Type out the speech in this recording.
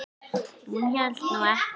Hún hélt nú ekki.